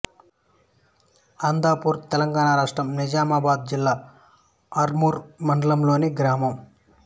అందాపూర్ తెలంగాణ రాష్ట్రం నిజామాబాద్ జిల్లా ఆర్మూర్ మండలంలోని గ్రామం